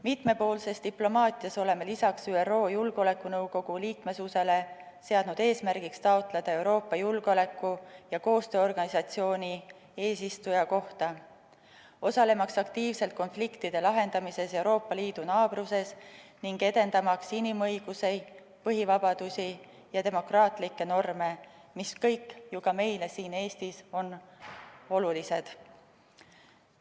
Mitmepoolses diplomaatias oleme lisaks ÜRO Julgeolekunõukogu liikmesusele seadnud eesmärgiks taotleda Euroopa Julgeoleku- ja Koostööorganisatsiooni eesistuja kohta, osalemaks aktiivselt konfliktide lahendamises Euroopa Liidu naabruses ning edendamaks inimõigusi, põhivabadusi ja demokraatlikke norme, mis kõik ju ka meile siin Eestis on olulised.